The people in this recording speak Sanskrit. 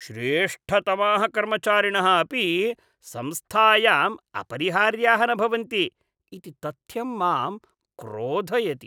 श्रेष्ठतमाः कर्मचारिणः अपि संस्थायाम् अपरिहार्याः न भवन्ति इति तथ्यं मां क्रोधयति।